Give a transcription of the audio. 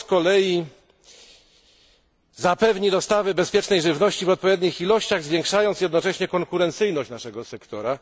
To z kolei zapewni dostawy bezpiecznej żywności w odpowiednich ilościach, zwiększając jednocześnie konkurencyjność naszego sektora.